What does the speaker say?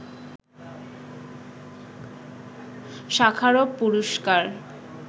Sakharov পুরস্কার